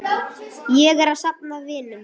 Ég er að safna vinum.